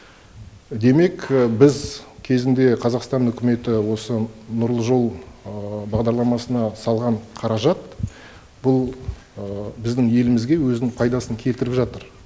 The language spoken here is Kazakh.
демек біз кезінде қазақстан үкіметі осы нұрлы жол бағдарламасына салған қаражат бұл біздің елімізге өзінің пайдасын келтіріп жатыр